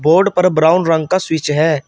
Board पर brown रंग का स्विच है।